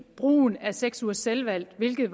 brugen af seks ugers selvvalgt hvilket